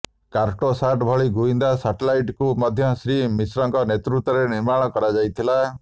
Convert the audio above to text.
କାର୍ଟୋସାଟ୍ ଭଳି ଗୁଇନ୍ଦା ସ୍ୟାଟେଲାଇଟ୍କୁ ମଧ୍ୟ ଶ୍ରୀ ମିଶ୍ରଙ୍କ ନେତୃତ୍ୱରେ ନିର୍ମାଣ କରାଯାଥିଲା